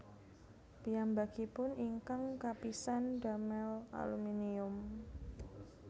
Piyambakipun ingkang kapisan ndamel aluminium